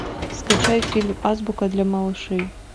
скачай фильм азбука для малышей